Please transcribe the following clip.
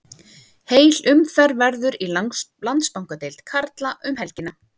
Heil umferð verður í Landsbankadeild karla um helgina.